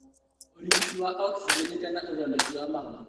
Ũrigiti wa okcinjeni kana ũthondeki wa mahũrĩ